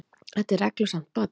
Þetta er reglusamt barn.